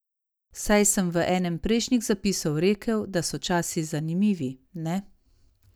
Saj sem v enem prejšnjih zapisov rekel, da so časi zanimivi, ne?